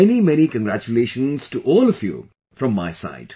Many many congratulations to all of you from my side